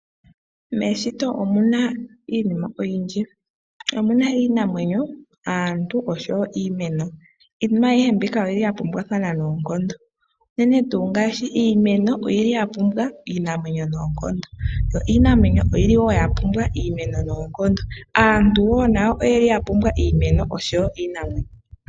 Meshito omuna iinima oyindji . Omuna iinamwenyo, aantu oshowoo iimeno. Iinima aihe mbika oyili yapumbwathana noonkondo. Unene tuu ngaashi iimeno oyili yapumbwa iinamwenyo noonkondo, yo iinamwenyo oyili yapumbwa iimeno noonkondo . Aantu wo nawo oyeli wo yapumbwa iimeno oshowoo iinamwenyo noonkondo.